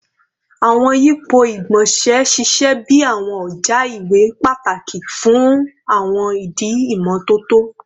Awọn yipo igbonse ṣiṣẹ bi awọn ọja iwe pataki fun awọn idi imototo